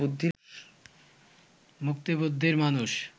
মুক্তবুদ্ধির মানুষ